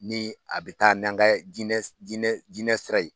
Ni a bɛ taa n'an kɛ jinɛ jinɛ sira ye